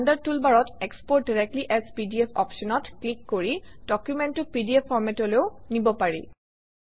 standard টুলবাৰত export directly as PDF অপশ্যনত click কৰি ডকুমেণ্টটো পিডিএফ ফৰমেটলৈও নিব পাৰি